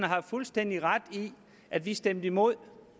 har fuldstændig ret i at vi stemte imod